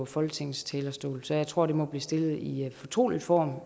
folketingets talerstol så jeg tror at spørgsmålet må blive stillet i fortrolig form